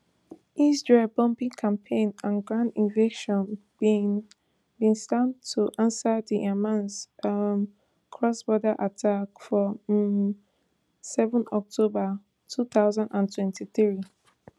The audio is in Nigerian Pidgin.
israel bombing campaign and ground invasion bin bin start to ansa di hamas um crossborder attack for um seven october two thousand and twenty-three